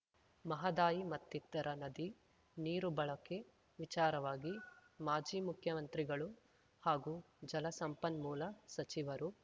ಮಹದಾಯಿ ಮತ್ತಿತರ ನದಿ ನೀರು ಬಳಕೆ ವಿಚಾರವಾಗಿ ಮಾಜಿ ಮುಖ್ಯಮಂತ್ರಿಗಳು ಹಾಗೂ ಜಲಸಂಪನ್ಮೂಲ ಸಚಿವರು